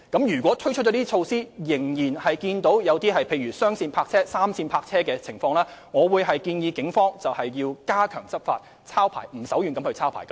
如果推出這些措施後，仍然出現雙線泊車、3線泊車的情況，我會建議警方加強執法，"抄牌"不手軟。